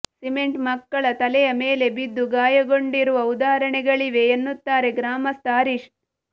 cement ಮಕ್ಕಳ ತಲೆಯ ಮೇಲೆ ಬಿದ್ದು ಗಾಯಗೊಂಡಿರುವ ಉದಾಹರಣೆಗಳಿವೆ ಎನ್ನುತ್ತಾರೆ ಗ್ರಾಮಸ್ಥ ಹರೀಶ್